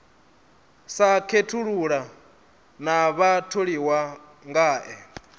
sa khethulula na vhatholiwa ngae